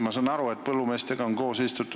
Ma saan aru, et põllumeestega on koos istutud.